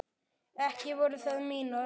Ekki voru það mín orð!